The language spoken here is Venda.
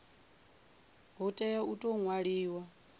hu tea u tou ṅwaliwa